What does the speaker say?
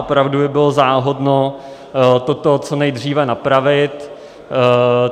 Opravdu by bylo záhodno to co nejdříve napravit.